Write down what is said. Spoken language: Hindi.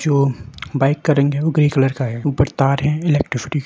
जो बाइक का रंग है वो ग्रे कलर का है ऊपर तार हैइलेक्ट्रिसिटी --